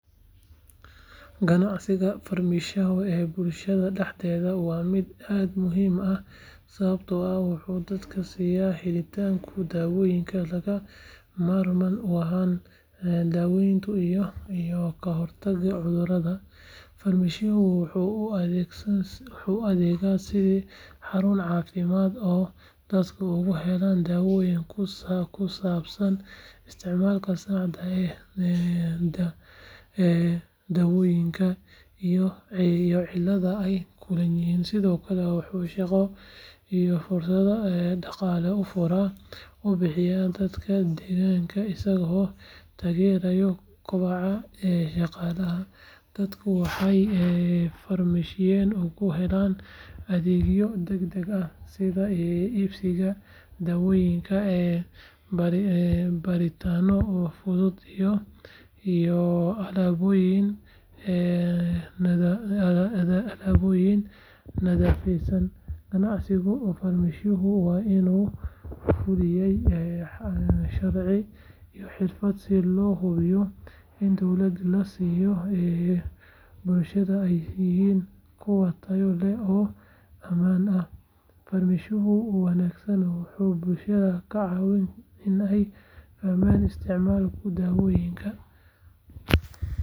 Ganacsiga farmashiyaha ee bulshada dhexdeeda waa mid aad u muhiim ah sababtoo ah wuxuu dadka siyaa helitaanka dawooyin lagama maarmaan u ah daaweynta iyo kahortagga cudurrada. Farmashiyaha wuxuu u adeega sidii xarun caafimaad oo dadka uga helaan talooyin ku saabsan isticmaalka saxda ah ee dawooyinka iyo cilladaha ay la kulmaan. Sidoo kale wuxuu shaqo iyo fursado dhaqaale u abuuraa dadka deegaanka isagoo taageera kobaca dhaqaalaha. Dadku waxay farmashiyaha uga helaan adeegyo degdeg ah sida iibsiga dawooyinka, baaritaanno fudud iyo alaabooyin nadaafadeed. Ganacsiga farmashiyaha waa in lagu fuliyaa sharci iyo xirfad si loo hubiyo in dawooyinka la siiyo bulshada ay yihiin kuwo tayo leh oo ammaan ah. Farmashiyaha wanaagsan wuxuu bulshada ka caawiyaa in ay fahmaan isticmaalka dawooyinka.